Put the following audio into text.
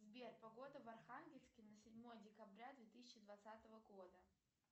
сбер погода в архангельске на седьмое декабря две тысячи двадцатого года